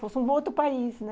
Fosse um outro país, né?